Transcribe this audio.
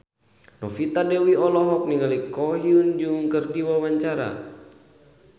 Novita Dewi olohok ningali Ko Hyun Jung keur diwawancara